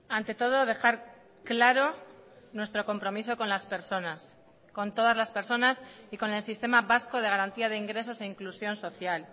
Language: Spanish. ante todo dejar claro nuestro compromiso con las personas con todas las personas y con el sistema vasco de garantía de ingresos e inclusión social